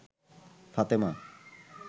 Fatema